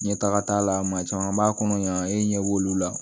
Ɲɛtaga t'a la maa caman b'a kɔnɔ yan e ɲɛ b'olu la